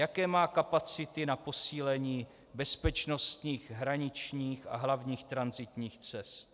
Jaké má kapacity na posílení bezpečnostních hraničních a hlavních tranzitních cest.